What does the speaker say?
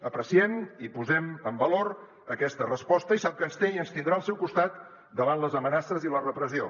apreciem i posem en valor aquesta resposta i sap que ens té i ens tindrà al seu costat davant les amenaces i la repressió